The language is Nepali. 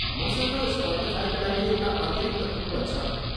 मसँग स्पटिफाईका लागि एउटा अतिरिक्त कुपन छ।